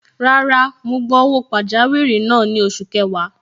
Rárá, mo gba owó pajawiri náà ni oṣù kẹwàá.